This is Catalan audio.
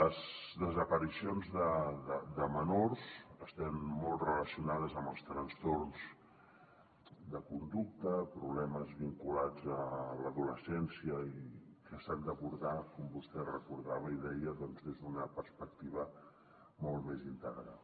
les desaparicions de menors estan molt relacionades amb els trastorns de conducta problemes vinculats a l’adolescència que s’han d’abordar com vostè recordava i deia doncs des d’una perspectiva molt més integral